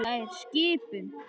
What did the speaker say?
Það er skipun!